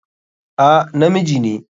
A, na miji ne.